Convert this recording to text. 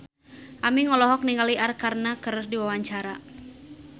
Aming olohok ningali Arkarna keur diwawancara